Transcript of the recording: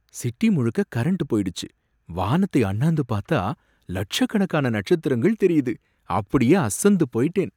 City முழுக்க current போயிடுச்சு, வானத்தை அண்ணாந்து பாத்தா லட்சக்கணக்கான நட்சத்திரங்கள் தெரியுது, அப்படியே அசந்து போயிட்டேன்.